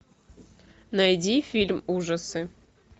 найди фильм ужасы